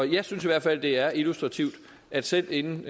jeg synes i hvert fald det er illustrativt at selv inden